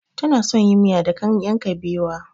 Tana son yin miya da ganyen kabewa.